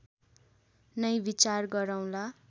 नै विचार गरौँला